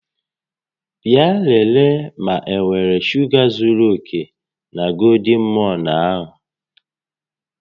Bịa lelee ma enwere shuga zuru oke na golden morn a